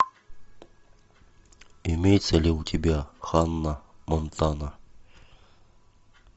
имеется ли у тебя ханна монтана